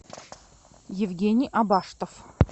евгений абаштов